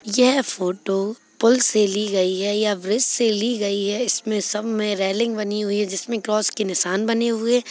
यह फोटो पुल से ली गयी है या ब्रिज से ली गई है इसमें सब में रेल्लिंग बनी हुई है जिसमे क्रोस्स के निशान बने हुए है।